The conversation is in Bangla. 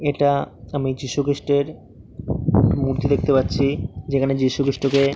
এটা-আ আমি যীশু খৃষ্টের মূর্তি দেখতে পাচ্ছি। যেখানে যীশু খৃষ্টকে--